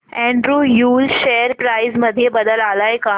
Andrew Yule share price मध्ये बदल आलाय का